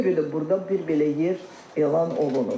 Ona görə də burda bir belə yer elan olunub.